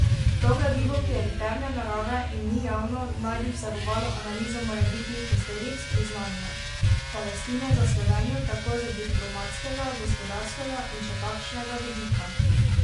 To gradivo, ki je interne narave in ni javno, naj bi vsebovalo analizo morebitnih posledic priznanja Palestine za Slovenijo, tako z diplomatskega, gospodarskega in še kakšnega vidika.